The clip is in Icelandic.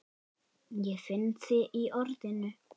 Ég finn þig í orðinu.